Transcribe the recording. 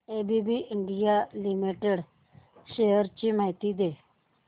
ABB India limited shares ची माहिती दे